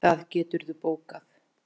Það geturðu bókað.